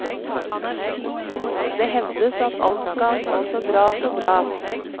Det hevdes at alt skal gå så bra, så bra.